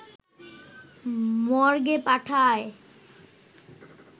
মর্গে পাঠায়